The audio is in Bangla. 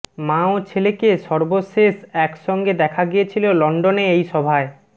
মা ও ছেলেকে সর্বশেষ একসঙ্গে দেখা গিয়েছিল লন্ডনে এই সভায়